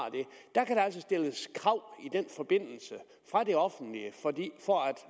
der kan altså stilles krav fra det offentlige for at